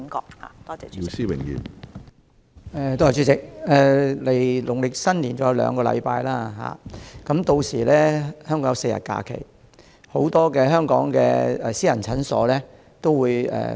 主席，距離農曆新年尚有兩個星期，屆時香港會有4天假期，很多私家診所會休息4至7天。